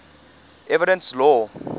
evidence law